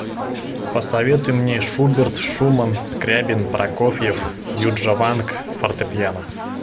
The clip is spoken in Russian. посоветуй мне шуберт шуман скрябин прокофьев юджаванг фортепиано